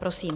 Prosím.